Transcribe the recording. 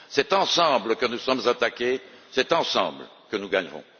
C'est ensemble que nous sommes attaqués, c'est ensemble que nous gagnerons.